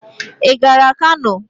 Ị gara Kano?